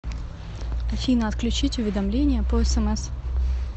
афина отключить уведомления по смс